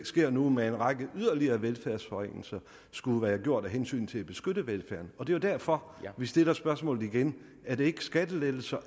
sker nu med en række yderligere velfærdsforringelser skulle være gjort af hensyn til at beskytte velfærden og det er jo derfor at vi stiller spørgsmålet igen er det ikke skattelettelser